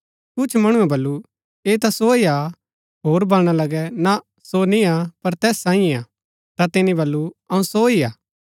कुछ मणुऐ बल्लू ऐह ता सो हि हा होर बलणा लगै ना सो निय्आ पर तैस साईयें हा ता तिनी बल्लू अऊँ सो ही हा